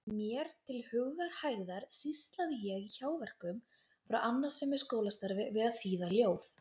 Mér til hugarhægðar sýslaði ég í hjáverkum frá annasömu skólastarfi við að þýða ljóð.